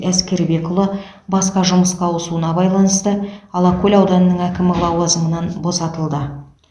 әскербекұлы басқа жұмысқа ауысуына байланысты алакөл ауданының әкімі лауазымынан босатылды